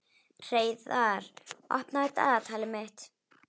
Hreiðar, opnaðu dagatalið mitt.